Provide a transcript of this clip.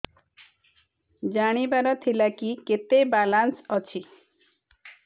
ଜାଣିବାର ଥିଲା କି କେତେ ବାଲାନ୍ସ ଅଛି